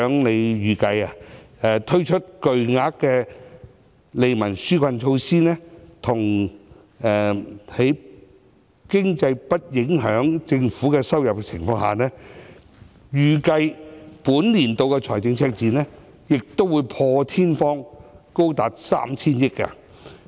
司長預計，推出巨額的利民紓困措施，加上經濟不利因素影響政府的收入，預計本年度的財政赤字會破天荒高達 3,000 億元。